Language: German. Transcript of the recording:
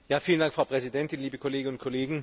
Frau Präsidentin, liebe Kolleginnen und Kollegen!